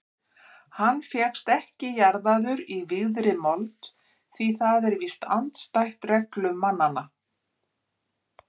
Hann fékkst ekki jarðaður í vígðri mold því það er víst andstætt reglum mannanna.